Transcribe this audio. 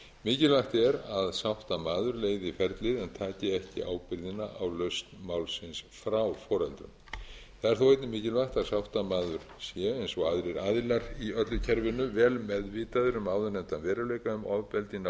mikilvægt er að sáttamaður leiði ferlið en taki ekki ábyrgðina á lausn málsins frá foreldrum það er þó einnig mikilvægt að sáttamaður sé eins og aðrir aðilar í öllu kerfinu vel meðvitaður um áðurnefndan möguleika um ofbeldi í